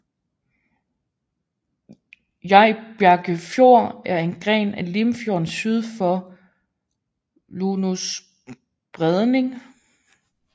Hjarbæk Fjord er en gren af Limfjorden syd for Louns Bredning